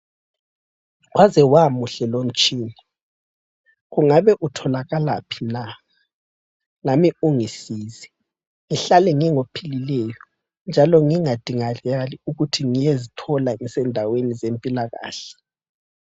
Wazewamuhle lomtshina, kungabe kutholakalaphi na lami ungisize ngihlale ngingophilileyo njalo ngingadingakali ukuthi ngiyezithola ngisendaweni zempilakahle